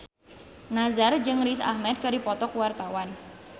Nassar jeung Riz Ahmed keur dipoto ku wartawan